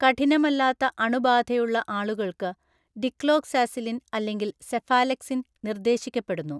കഠിനമല്ലാത്ത അണുബാധയുള്ള ആളുകൾക്ക്, ഡിക്ലോക്സാസിലിൻ അല്ലെങ്കിൽ സെഫാലെക്സിൻ നിർദ്ദേശിക്കപ്പെടുന്നു.